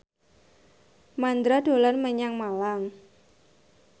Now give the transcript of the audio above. Mandra dolan menyang Malang